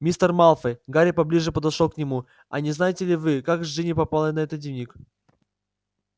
мистер малфой гарри поближе подошёл к нему а не знаете ли вы как к джинни попал этот дневник